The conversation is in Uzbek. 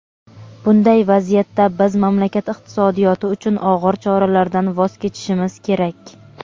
bunday vaziyatda biz mamlakat iqtisodiyoti uchun og‘ir choralardan voz kechishimiz kerak.